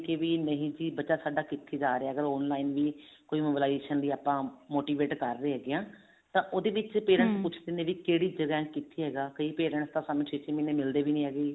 ਨਹੀਂ ਜੀ ਬੱਚਾ ਸਾਡਾ ਕਿੱਥੇ ਜਾ ਰਿਹਾ ਹੈਗਾ online ਵੀ ਕੋਈ mobilization ਦੀ ਆਪਾਂ motivate ਕਰ ਰਹੇ ਹਾਂ ਤਾਂ ਉਹਦੇ ਵਿੱਚ parents ਨੇ ਕਿਹੜੀ ਜਗ੍ਹਾ ਕਿੱਥੇ ਹੋਗਾ ਕਈ parents ਤਾਂ ਸਾਨੂੰ ਛੇ ਛੇ ਮਹੀਨੇ ਮਿਲਦੇ ਵੀ ਨੀ ਹੈਗੇ